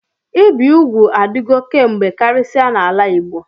Ịbi ụgwụ adigọ kamgbe karisia n'ala Igbo.